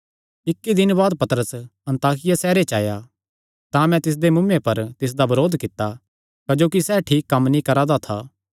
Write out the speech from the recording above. इक्की दिने बाद पतरस अन्ताकिया सैहरे च आया तां मैं तिसदे मुँऐ पर तिसदा बरोध कित्ता क्जोकि सैह़ ठीक कम्म नीं करा दा था